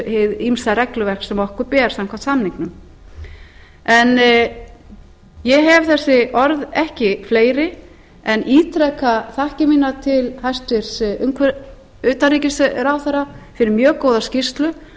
hið ýmsa regluverk sem okkur ber samkvæmt samningnum en ég hef þessi orð ekki fleiri en ítreka þakkir mínar til hæstvirts utanríkisráðherra fyrir mjög góða skýrslu